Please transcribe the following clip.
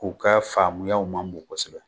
U ka faamuya ma bon kosɛbɛ